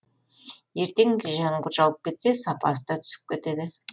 ертең жаңбыр жауып кетсе сапасы да түсіп кетеді